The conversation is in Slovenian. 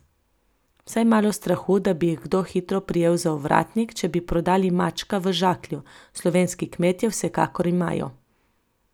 Vsaj malo strahu, da bi jih kdo hitro prijel za ovratnik, če bi prodali mačka v žaklju, slovenski kmetje vsekakor imajo.